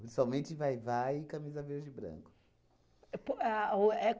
Principalmente vai-vai e camisa verde e branco. Po a o é